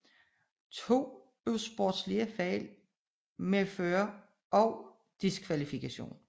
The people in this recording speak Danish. To usportslige fejl medfører også diskvalifikation